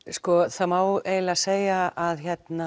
það má eiginlega segja að